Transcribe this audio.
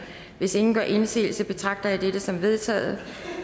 hvis ingen gør indsigelse betragter jeg dette som vedtaget